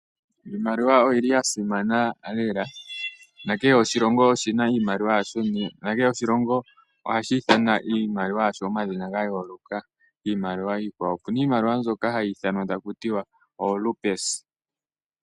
Iimaliwa oya imana lela, nakehe oshilongo oshi na iimaliwa yasho, nakehe oshilongo ohashi ithana iimaliwa yasho omadhina gayooloka kiimaliwa iikwawo. Opu na iimaliwa mbyoka hayi ithanwa taku tiwa oRupees